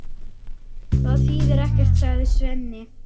Það þýðir ekkert, sagði Svenni.